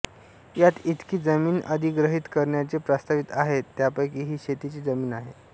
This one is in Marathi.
यात ईतकी जमीन अधिग्रहित करण्याचे प्रस्तावित आहे ज्यापैकी ही शेतीची जमीन आहे